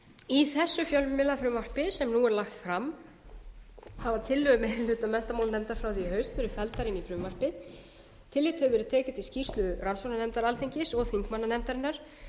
í þessu fjölmiðlafrumvarpi sem nú er lagt fram hafa tillögur meiri hluta menntamálanefndar frá því í haust verið felldar inn í frumvarpið tillit hefur verið tekið til skýrslu rannsóknarnefndar alþingis og þingmannanefndarinnar